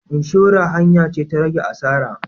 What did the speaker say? Inshora hanya ce ta rage asara.